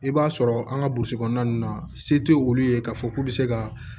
I b'a sɔrɔ an ka burusi kɔnɔna ninnu na se tɛ olu ye k'a fɔ k'u bɛ se ka